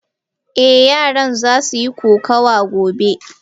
Eh yaran zasu yi kokawa gobe.